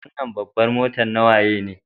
Wanan babbar mota na waye ne?